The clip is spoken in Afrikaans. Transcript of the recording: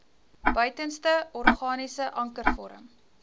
buitenste organiese ankervorm